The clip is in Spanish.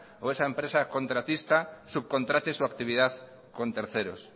o esa empresa contratista subcontrate su actividad con terceros